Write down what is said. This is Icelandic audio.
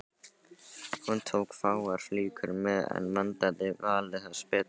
Hún tók fáar flíkur með en vandaði valið þess betur.